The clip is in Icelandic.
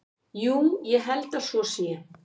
Jú, ég held að svo sé.